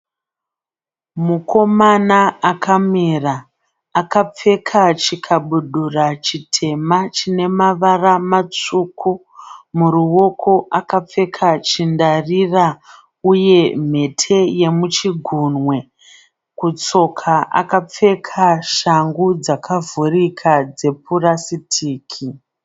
Mukomana akamira akapfeka chikabudura chitema chine mavara matsvuku muruoko akapfeka chindarira uye mhete yemuchigunwe kutsoka akapfeka shangu dzakavhurika dzepurasitiki.